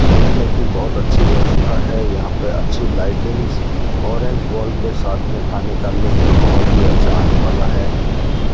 बैठने की बहोत अच्छी व्यवस्था है यहां पे अच्छी लाइटिंग्स ऑरेंज वॉल के साथ मे खाने का लुफ्त बहोत ही अच्छा आनेवाला है।